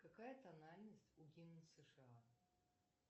какая тональность у гимна сша